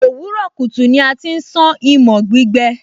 òwúrọ̀ kùtù ni a ti ń sán imọ̀ gbígbẹ